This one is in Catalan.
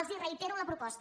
els reitero la proposta